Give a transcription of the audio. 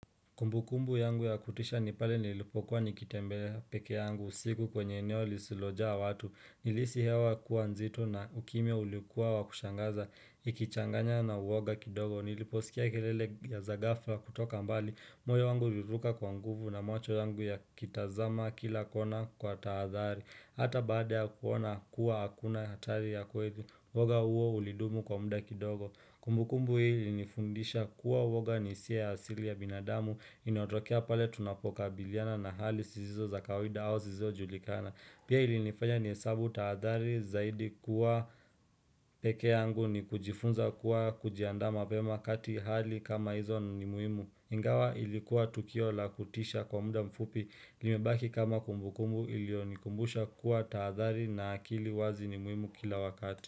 Kumbukumbu yangu ya kutisha ni pale nilipokuwa nikitembea peke yangu usiku kwenye eneo lisilojaa watu. Nilihisi hewa kuwa nzito na ukimya uliokuwa wa kushangaza. Ikichanganya na uwoga kidogo. Niliposikia kelele za ghafla kutoka mbali. Moyo wangu uliruka kwa nguvu na macho yangu yakitazama kila kona kwa tahadhari. Hata baada ya kuona kuwa hakuna hatari ya kweli. Uwoga huo ulidumu kwa muda kidogo. Kumbukumbu hii ilinifundisha kuwa uwoga ni hisia asili ya binadamu inayotokea pale tunapokabiliana na hali zisizo za kawida au zisizo julikana. Pia ilinifanya nihesabu tahadhari zaidi kuwa peke yangu ni kujifunza kuwa kujiandaa mapema kati hali kama hizo ni muhimu. Ingawa ilikuwa tukio la kutisha kwa muda mfupi limebaki kama kumbukumbu iliyonikumbusha kuwa tahadhari na akili wazi ni muhimu kila wakati.